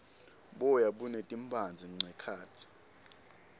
boya buneti mphandze nqekhatsi